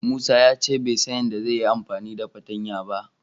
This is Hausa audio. Musa ya ce bai san yadda zai yi amfani da fartanya ba.